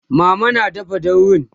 mama na dafa daurin